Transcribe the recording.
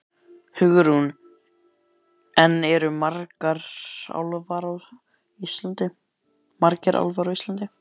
Hugrún: En eru margir álfar á Íslandi?